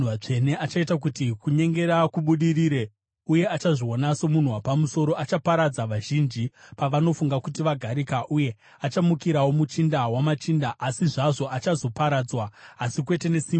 Achaita kuti kunyengera kubudirire, uye achazviona somunhu wapamusoro. Achaparadza vazhinji pavanofunga kuti vagarika uye achamukirawo Muchinda wamachinda. Asi zvazvo achazoparadzwa, asi kwete nesimba romunhu.